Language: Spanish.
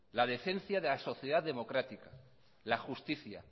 la decencia de la sociedad democrática la justicia